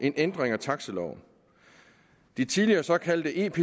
en ændring af taxiloven de tidligere såkaldte ep